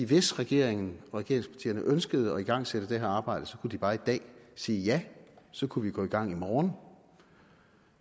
hvis regeringen og regeringspartierne ønskede at igangsætte det her arbejde kunne de bare i dag sige ja så kunne vi gå i gang i morgen